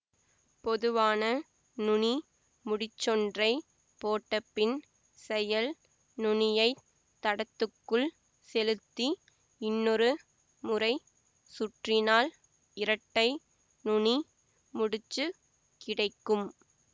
பொதுவான நுனி முடிச்சொன்றைப் போட்டபின் செயல் நுனியைத் தடத்துக்குள் செலுத்தி இன்னொரு முறை சுற்றினால் இரட்டை நுனி முடிச்சுக் கிடைக்கும்